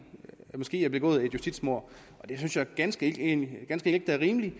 måske er begået et justitsmord og det synes jeg ganske enkelt ikke er rimeligt